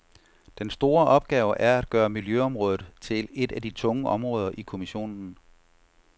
Den store opgave er at gøre miljøområdet til et af de tunge områder i kommissionen.